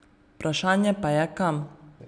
Vprašanje pa je, kam.